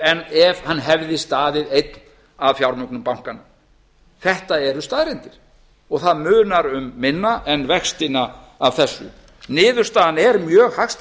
en ef hann hefði staðið einn að fjármögnun bankanna þetta eru staðreyndir og það munar um minna en vextina af þessu niðurstaðan er mjög hagstæð